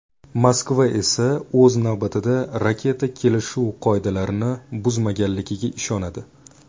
Moskva esa o‘z navbatida raketa kelishuv qoidalarini buzmaganligiga ishonadi.